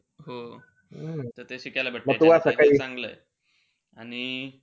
हो. त ते शिकायला भेटत म चांगलंय. आणि,